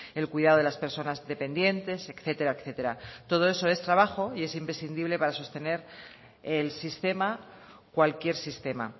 el cuidado de las personas dependientes etcétera etcétera todo eso es trabajo y es imprescindible para sostener el sistema cualquier sistema